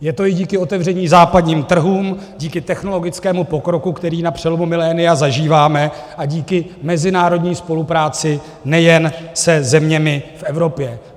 Je to i díky otevření západním trhům, díky technologickému pokroku, který na přelomu milénia zažíváme, a díky mezinárodní spolupráci nejen se zeměmi v Evropě.